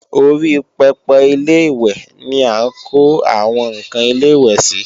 Orí pẹpẹ Ilé-ìwẹ̀ ni à ń kó àwọn ǹkan ilẹ̀-ìwẹ̀ sí